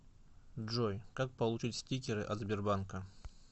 джой как получить стикеры от сбербанка